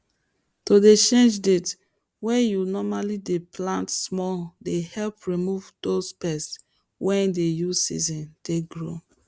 to dey change date wey you normall dey plant small dey help remove dose pest wey dey use season take grow